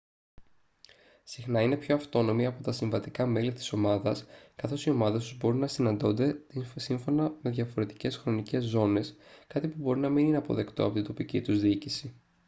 συχνά είναι πιο αυτόνομοι από τα συμβατικά μέλη της ομάδας καθώς οι ομάδες τους μπορεί να συναντώνται σύμφωνα με διαφορετικές χρονικές ζώνες κάτι που μπορεί να μην είναι αποδεκτό από την τοπική τους διοίκηση